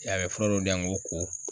I y'a ye,a be fura dɔ di yan n ko ko.